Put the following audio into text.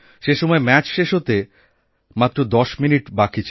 সেসময় ম্যাচ শেষ হতে আর মাত্র ১০মিনিট সময় বাকি